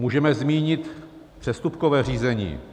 Můžeme zmínit přestupkové řízení.